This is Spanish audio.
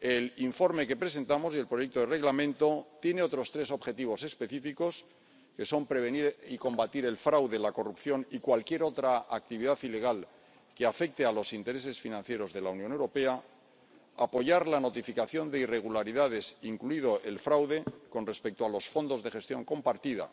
el informe que presentamos y el proyecto de Reglamento tienen otros tres objetivos específicos que son prevenir y combatir el fraude, la corrupción y cualquier otra actividad ilegal que afecte a los intereses financieros de la Unión Europea, apoyar la notificación de irregularidades, incluido el fraude, con respecto a los fondos de gestión compartida